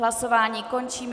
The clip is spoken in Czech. Hlasování končím.